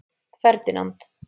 Ferdinand